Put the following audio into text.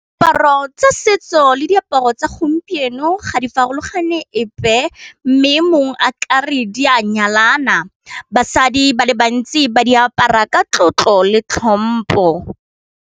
Diaparo tsa setso le diaparo tsa gompieno ga di farologane epe mme mongwe a kare di a nyalana basadi ba le bantsi ba di apara ka tlotlo le tlhompo.